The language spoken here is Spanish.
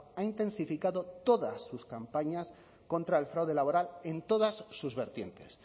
ha intensificado todas sus campañas contra el fraude laboral en todas sus vertientes